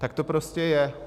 Tak to prostě je.